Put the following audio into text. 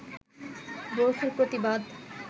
বোরখার প্রতিবাদ